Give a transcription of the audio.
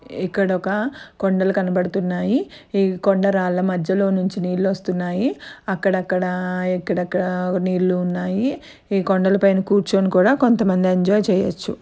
ఇక్కడ ఒక కొండలు కనబడుతున్నాయి ఈ కొండరాళ్ళ మధ్యలో నుంచి నీళ్లు వస్తున్నాయి అక్కడక్కడా ఇక్కడక్కడ నీళ్లు ఉన్నాయి ఈ కొండల పైన కూర్చోని కూడా కొంతమంది ఎంజాయ్ చెయ్యచ్చు.